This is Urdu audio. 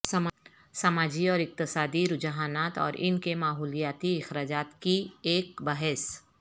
سماجی اور اقتصادی رجحانات اور ان کے ماحولیاتی اخراجات کی ایک بحث